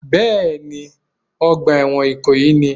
Bẹ́ẹ̀ ni, ọgbà ẹ̀wọ̀n ìkòyí ni